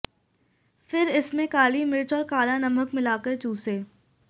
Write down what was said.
फिर इस में काली मिर्च और काला नमक मिलाकर चूंसे